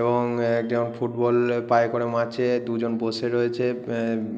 এবং একজন ফুটবল পায়ে করে মারছে। দুজন বসে রয়েছে। আ